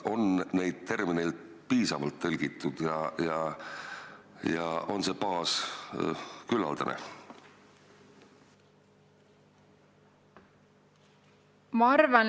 On neid termineid piisavalt tõlgitud ja on see baas küllaldane?